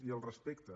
i al respecte